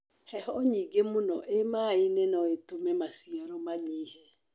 Heho nyingĩ mũno iĩmainĩ noĩtũme maciaro manyihe.